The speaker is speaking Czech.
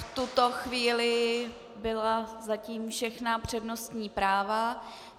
V tuto chvíli byla zatím všechna přednostní práva.